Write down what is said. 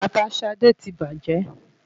Bàtà Ṣadé ti bàjẹ́.